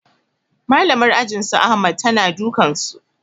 Malamar ajin su ahmad ta na dukan su